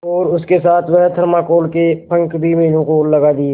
और उसके साथ वह थर्माकोल के पंख भी मीनू को लगा दिए